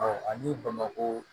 ani bamakɔ